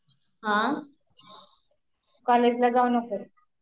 हां, कॉलेजला जाऊन नकोस